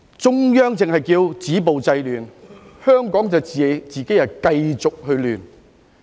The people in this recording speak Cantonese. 中央只是叫我們"止暴制亂"，香港卻自己繼續亂。